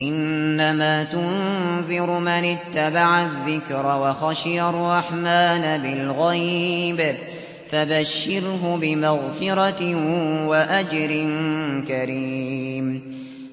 إِنَّمَا تُنذِرُ مَنِ اتَّبَعَ الذِّكْرَ وَخَشِيَ الرَّحْمَٰنَ بِالْغَيْبِ ۖ فَبَشِّرْهُ بِمَغْفِرَةٍ وَأَجْرٍ كَرِيمٍ